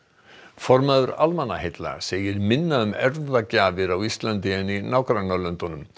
formaður Almannaheilla segir minna um á Íslandi en í nágrannalöndunum